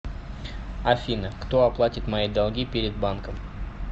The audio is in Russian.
афина кто оплатит мои долги перед банком